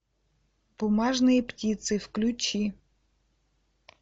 бумажные птицы включи